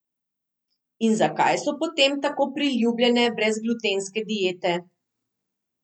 In zakaj so potem tako priljubljene brezglutenske diete?